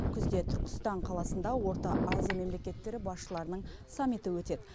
күзде түркістан қаласында орта азия мемлекеттері басшыларының саммиті өтеді